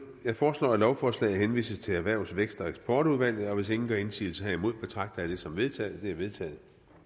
jeg foreslår at lovforslaget henvises til erhvervs vækst og eksportudvalget og hvis ingen gør indsigelse herimod betragter jeg det som vedtaget vedtaget